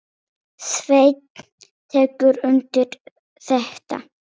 Sveinn tekur undir þetta.